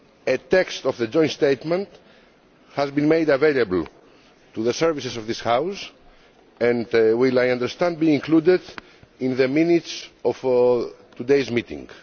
A text of the joint statement has been made available to the services of this House and will, I understand, be included in the minutes of today's meeting.